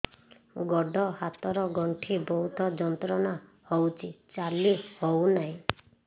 ଗୋଡ଼ ହାତ ର ଗଣ୍ଠି ବହୁତ ଯନ୍ତ୍ରଣା ହଉଛି ଚାଲି ହଉନାହିଁ